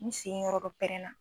Ni sen yɔrɔ dɔ pɛrɛnna